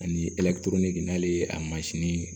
Ani n'ale ye a mansin